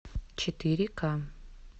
четыре ка